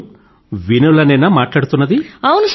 ఎవరు వినోలే నేనా మాట్లాడుతున్నది